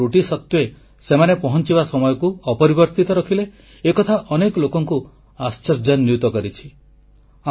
କେତେକ ତ୍ରୁଟି ସତ୍ୱେ ସେମାନେ ପହଂଚିବା ସମୟକୁ ଅପରିବର୍ତ୍ତିତ ରଖିଲେ ଏକଥା ଅନେକ ଲୋକଙ୍କୁ ଆଶ୍ଚର୍ଯ୍ୟାନ୍ୱିତ କରିଛି